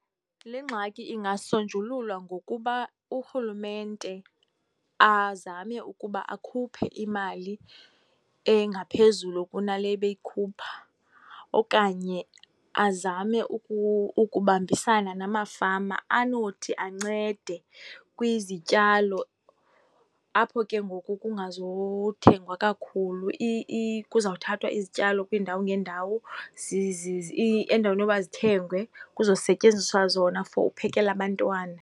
Le ngxaki ingasonjululwa ngokuba urhulumente azame ukuba akhuphe imali engaphezulu kunale ebeyikhupha okanye azame ukubambisana namafama anothi ancede kwizityalo apho ke ngoku kungazuthengwa kakhulu, kuzawuthathwa izityalo kwiindawo ngeendawo. Endaweni yoba zithengwe, kuzosetyenziswa zona for uphekela abantwana.